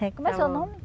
Eh, como é seu nome?